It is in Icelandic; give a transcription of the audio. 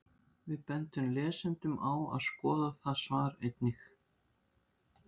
Við bendum lesendum á að skoða það svar einnig.